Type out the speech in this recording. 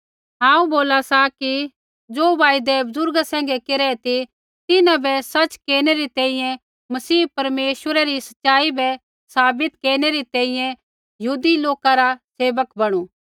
हांऊँ बोला सा कि ज़ो वायदै बुज़ुर्गा सैंघै केरै ती तिन्हां बै सच़ केरनै री तैंईंयैं मसीह परमेश्वरै री सच़ाई बै साबित केरनै री तैंईंयैं यहूदी लौका रा सेवक बणु